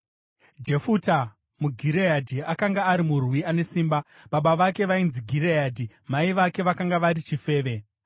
Jefuta muGireadhi, akanga ari murwi ane simba. Baba vake vainzi Gireadhi; mai vake vakanga vari chifeve.